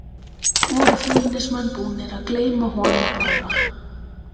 Voru Fjölnismenn búnir að gleyma honum bara?